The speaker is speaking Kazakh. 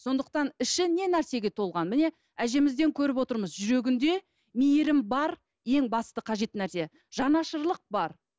сондықтан іші не нәрсеге толған міне әжемізден көріп отырмыз жүрегінде мейірім бар ең басты қажет нәрсе жанашырлық бар